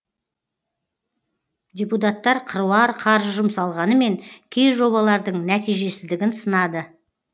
депутаттар қыруар қаржы жұмсалғанымен кей жобалардың нәтижесіздігін сынады